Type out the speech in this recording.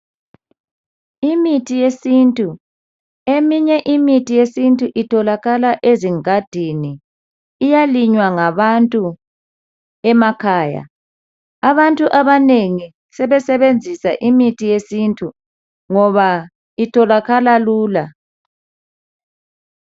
Imithi yesintu, eminye imithi yesintu itholakala ezingadini. Iyalinywa ngabantu emakhaya. Abantu abanengi sebesebenzisa imithi yesintu ngoba itholakala lula.